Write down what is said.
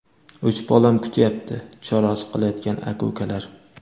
uch bolam kutyapti: chorasiz qolayotgan aka-ukalar.